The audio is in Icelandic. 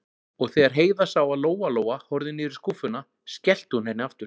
Og þegar Heiða sá að Lóa-Lóa horfði niður í skúffuna, skellti hún henni aftur.